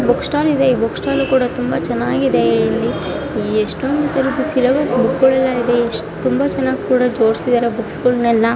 Book stall ಇದೆ ಈ book stall ತುಂಬಾ ಚೆನ್ನಾಗಿದೆ. ಇಲ್ಲಿ ಎಷ್ಟೊಂದು ತರದ್ ಸಿಲೇಬಸ್ ಗಳ ಬುಕ್ಸ್ ಇವೆ ತುಂಬಾ ಚೆನ್ನಾಗಿ ಬೇರೆ ಜೋಡಿಸಿದ್ದಾರೆ ಬುಕ್ಸ್ ಗಳನೆಲ್ಲಾ --